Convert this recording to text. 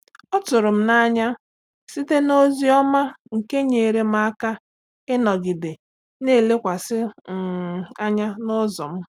Ọ tụrụ m n'anya site n'ozi ọma nke nyeere m aka ịnọgide na-elekwasị um anya n'ụzọ m.